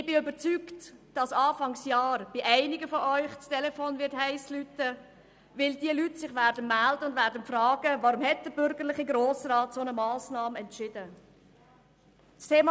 Ich bin überzeugt, dass Anfang Jahr bei einigen von Ihnen das Telefon «heiss» klingeln wird, weil diese Leute sich melden und fragen werden, weshalb der bürgerliche Grosse Rat diese Massnahme entschieden hat.